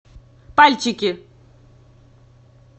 пальчики